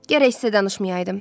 Gərək sizə danışmayaydım.